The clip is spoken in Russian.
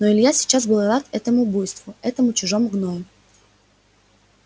но илья сейчас был рад этому буйству этому чужому гною